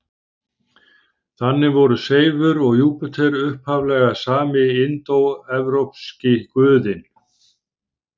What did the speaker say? Þannig voru Seifur og Júpíter upphaflega sami indóevrópski guðinn.